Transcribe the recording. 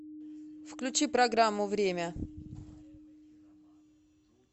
включи программу время